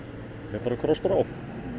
mér bara krossbrá